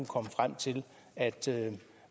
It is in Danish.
komme frem til